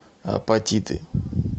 апатиты